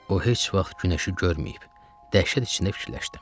O heç vaxt günəşi görməyib, dəhşət içində fikirləşdim.